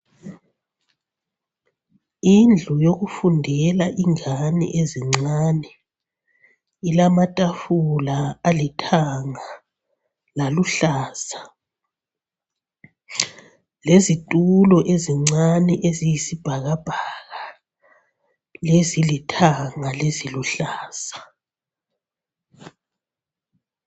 Indlu yokufundela ingane ezincane ilamatafula alithanga laluhlaza lezitulo ezincane eziyisibhakabhaka lezilithanga leziluhlaza.